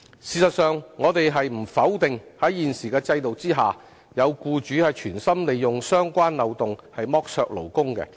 事實上，我們不否定在現時的制度下，有僱主存心利用相關漏洞剝削勞工。